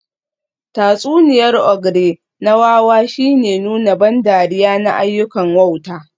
Tatsuniyar ogre na wawa shine nuna ban dariya na ayyukan wauta